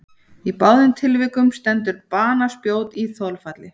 Í báðum tilvikum stendur banaspjót í þolfalli.